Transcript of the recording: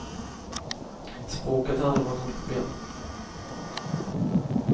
Språket har aldrig varit något problem.